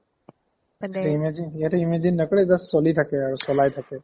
সিহতে imagine সিহতে imagine নকৰে just চলি থাকে আৰু চলাই থাকে